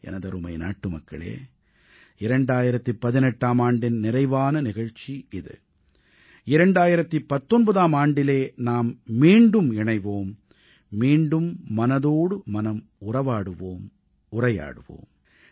எனதருமை நாட்டுமக்களே 2018ஆம் ஆண்டின் நிறைவான நிகழ்ச்சி இது 2019ஆம் ஆண்டிலே நாம் மீண்டும் இணைவோம் மீண்டும் மனதோடு மனம் உரையாடுவோம்